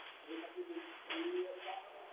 Nafn næstu biðstöðvar tilkynnt í hátalara